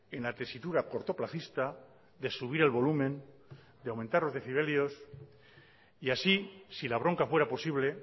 en la tesitura cortoplacista de subir el volumen de aumentar los decibelios y así si la bronca fuera posible